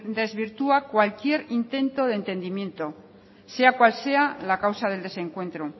desvirtúa cualquier intento de entendimiento sea cual sea la causa del desencuentro